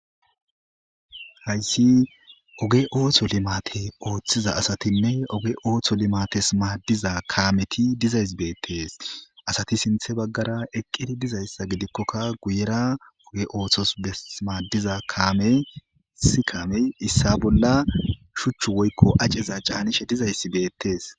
haysi oge ooththo limate ooththiza asatinne oge ooththo limates maaddiza kaameti dizays beettes asati sinthe baggara eqqidi dizayssa gidikkokka guyera oge ooththos besmaaddiza kaame si kaamey issa bolla shuchch woykko aceza caanishe dizayssi beettees